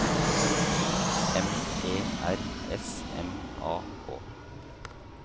M E R S M A K